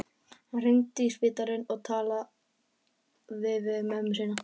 Hann hringdi í spítalann og talaði við mömmu sína.